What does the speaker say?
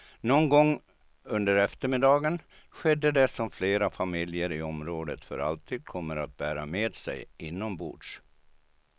Någon gång under eftermiddagen skedde det som flera familjer i området för alltid kommer att bära med sig inombords.